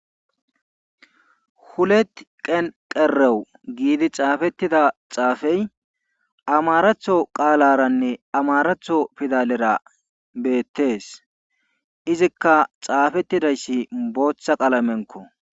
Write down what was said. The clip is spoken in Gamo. Hulet qen qerew giidi xaafetida xaafee amaratho qaalanne amarattho pidalera beetees. izikka xaafetidayssi booththa qalamenkko.